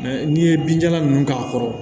n'i ye binjalan nunnu k'a kɔrɔ